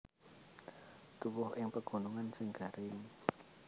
Tuwuh ing pegunungan sing garing